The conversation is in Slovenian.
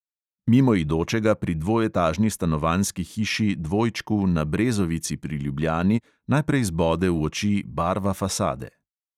Mimoidočega pri dvoetažni stanovanjski hiši dvojčku na brezovici pri ljubljani najprej zbode v oči barva fasade.